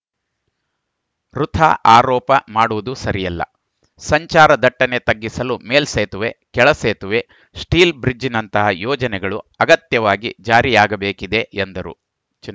ವೃಥಾ ಆರೋಪ ಮಾಡುವುದು ಸರಿಯಲ್ಲ ಸಂಚಾರ ದಟ್ಟಣೆ ತಗ್ಗಿಸಲು ಮೇಲ್ಸೇತುವೆ ಕೆಳ ಸೇತುವೆ ಸ್ಟೀಲ್‌ ಬ್ರಿಜ್‌ನಂತಹ ಯೋಜನೆಗಳು ಅಗತ್ಯವಾಗಿ ಜಾರಿಯಾಗಬೇಕಿದೆ ಎಂದರು